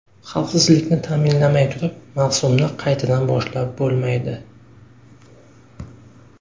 Xavfsizlikni ta’minalamay turib mavsumni qaytadan boshlab bo‘lmaydi.